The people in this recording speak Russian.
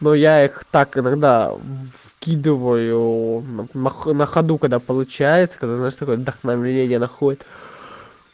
но я их так иногда вкидываю на ходу когда получается когда знаешь такое вдохновение находит